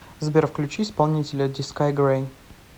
сбер включи исполнителя дискай грей